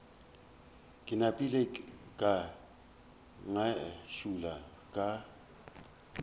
ke napile ka ngašula ka